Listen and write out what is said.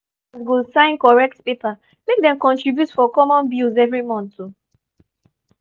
every ten ant go sign correct paper make dem contribute for common bills every month.